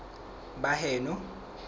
baheno